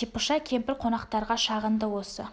типыша кемпір қонақтарға шағынды осы